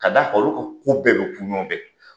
Ka d'a kan olu ka ko bɛɛ bɛ kun ŋɔɔn fɛ